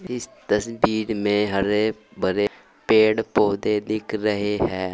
इस तस्वीर में हरे भरे पेड़ पौधे दिख रहे है।